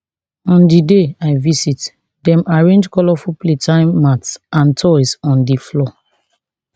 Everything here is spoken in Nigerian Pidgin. on di day i visit dem arrange colourful playtime mats and toys on di floor